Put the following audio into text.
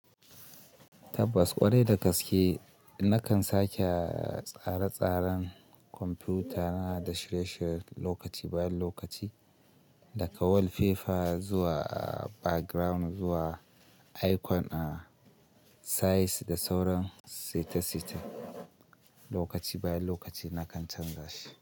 Tabbas ƙwarai da gaske nakan sake tsare-tsaren kwamfutana da shirye-shirye lokaci bayan lokaci, daga wallpaper zuwa background zuwa icon a size da sauran seta-seta, lokaci bayan lokaci nakan canza shi.